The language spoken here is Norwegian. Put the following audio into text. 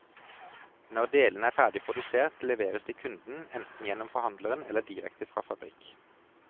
Når delene er ferdig produsert, leveres de kunden, enten gjennom forhandleren eller direkte fra fabrikk.